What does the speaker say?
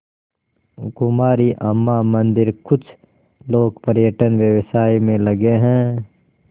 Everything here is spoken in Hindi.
कुमारी अम्मा मंदिरकुछ लोग पर्यटन व्यवसाय में लगे हैं